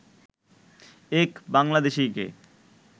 এক বাংলাদেশিকে